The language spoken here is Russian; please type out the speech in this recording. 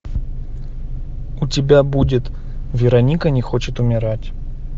у тебя будет вероника не хочет умирать